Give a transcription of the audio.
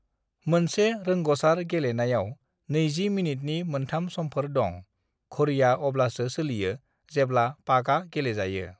"मोनसे रोंग'सार गेलेनायाव नैजि मिनिटनि मोन्थाम समफोर दं, घड़ीया अब्लासो सोलियो जेब्ला पाकआ गेलेजायो।"